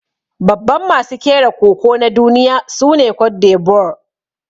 Babban masu kera Koko na duniya sune Cote D'Ivoire.